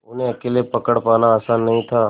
उन्हें अकेले पकड़ पाना आसान नहीं था